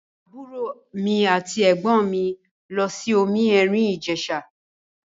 Àbúrò mi àti ẹ̀gbọ́n mi lọ sí omi èrìn Ìjẹ̀ṣà.